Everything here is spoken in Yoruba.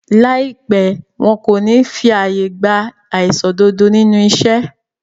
Láìpẹ́, wọn kò ní fí àyè gba aìṣòdodo nínú iṣẹ́